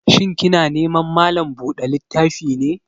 Shin kina neman malan buɗa littafi ne?